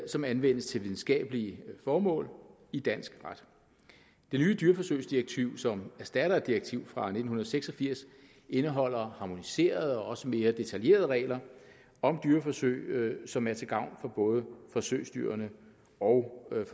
som anvendes til videnskabelige formål i dansk ret det nye dyreforsøgsdirektiv som erstatter et direktiv fra nitten seks og firs indeholder harmoniserede og også mere detaljerede regler om dyreforsøg som er til gavn for både forsøgsdyrene og